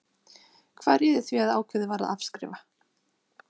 Hvað réði því að ákveðið var að afskrifa?